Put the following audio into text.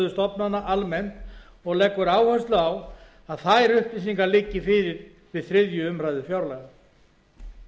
stofnana almennt og leggur áherslu á að þær upplýsingar liggi fyrir við þriðju umræðu fjárlaga